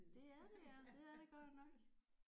Det er det ja det er det godt nok